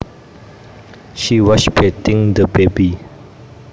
She was bathing the baby